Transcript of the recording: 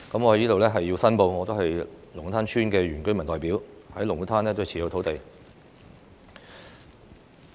我在此申報，我是龍鼓灘村的原居民代表，在龍鼓灘擁有土地。